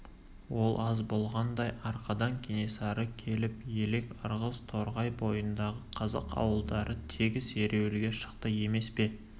ол аз болғандай арқадан кенесары келіп елек ырғыз торғай бойындағы қазақ ауылдары тегіс ереуілге шықты емес пе